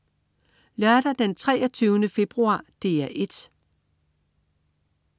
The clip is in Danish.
Lørdag den 23. februar - DR 1: